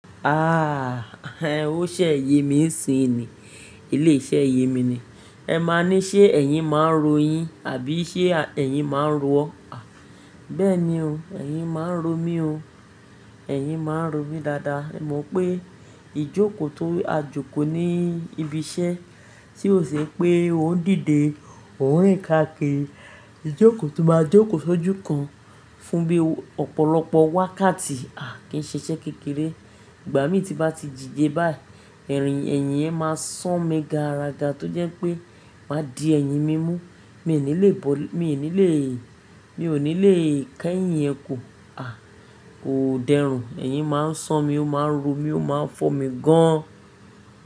Ah, o ṣé ẹ ye mi ń sìn ni. Ilé iṣẹ́ ẹ̀yìn mi ni. Ẹ má ní ṣé ẹ̀yìn máa ń ro yín àbí ṣé ẹ̀yìn máa ń ro ọ. Béẹ̀ ni ó, ẹ̀yìn máa ń ro mí o. Ẹ̀yìn máa ń ro mí dáadáa. Mo mọ̀ pé ìjókòó tó a jókòó ní ibi iṣẹ́ tí ò ṣé pé ó ń dìde òun rìn kákíri ìjókòó tó máa jókòó ṣójú kan fún bíi ọ̀pọ̀lọpọ̀ wákàtí, a kì í ṣe iṣẹ́ kékeré. Ìgbà mí ti bá ti díjẹ báyi, ẹ̀yìn yẹn máa san mí ganrága tó jẹ́ pé máa di ẹ̀yìn mí mú. Mi ò ní lè bọ́-- mi ò ní lè, mi ò ní lè kẹ́yìn ẹ kù, à kò dẹrùn. Ẹ̀yìn máa ń san mí, ó máa ń ro mí, ó máa ń fọ́ mi gán.